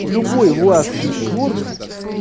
любой властвующий орган